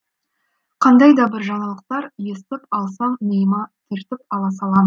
қандай да бір жаңалықтар естіп алсам миыма түртіп ала салам